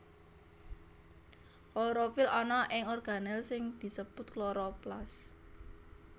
Klorofil ana ing organel sing disebut kloroplas